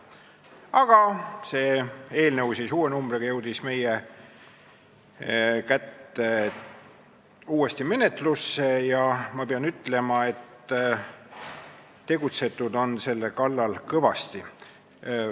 Aga see eelnõu, küll uue numbriga, jõudis meie kätte uuesti menetlemiseks ja ma pean ütlema, et tegutsetud on selle kallal kõvasti.